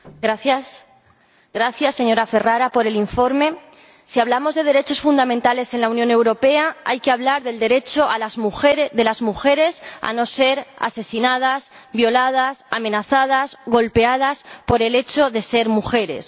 Señor Presidente, gracias señora Ferrara por el informe. Si hablamos de derechos fundamentales en la Unión Europea, hay que hablar del derecho de las mujeres a no ser asesinadas, violadas, amenazadas o golpeadas por el hecho de ser mujeres.